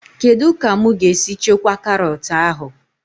Kedụ ka mụ ga-esi chekwaa karọt ahụ?